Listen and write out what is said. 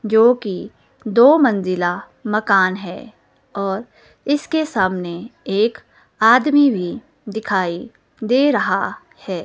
जोकि दो मंजिला मकान है और इसके सामने एक आदमी भी दिखाई दे रहा है।